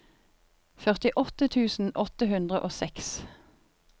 førtiåtte tusen åtte hundre og seks